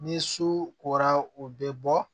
Ni su kora o bɛ bɔ